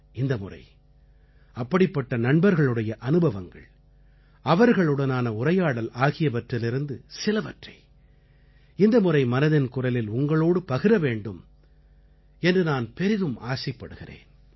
இந்த முறை அப்படிப்பட்ட நண்பர்களுடைய அனுபவங்கள் அவர்களுடனான உரையாடல் ஆகியவற்றிலிருந்து சிலவற்றை இந்த முறை மனதின் குரலில் உங்களோடு பகிர வேண்டும் என்று நான் பெரிதும் ஆசைப்படுகிறேன்